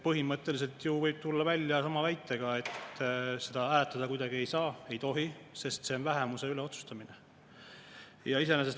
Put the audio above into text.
Põhimõtteliselt võib siis tulla välja sama väitega, et seda hääletada kuidagi ei saa, ei tohi, sest see on vähemuse üle otsustamine.